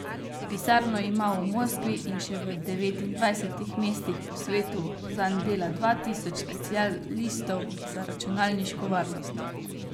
Pisarno ima v Moskvi in še v devetindvajsetih mestih po vsem svetu, zanj dela dva tisoč specialistov za računalniško varnost.